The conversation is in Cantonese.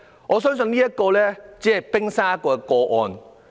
我相信這宗個案只是冰山一角。